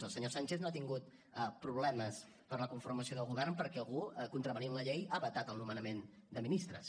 el senyor sánchez no ha tingut problemes per a la conformació del govern perquè algú contravenint la llei hagi vetat el nomenament de ministres